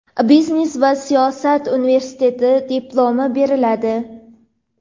biznes va siyosat universtiteti diplomi beriladi.